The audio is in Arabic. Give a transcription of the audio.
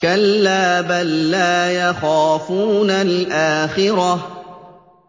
كَلَّا ۖ بَل لَّا يَخَافُونَ الْآخِرَةَ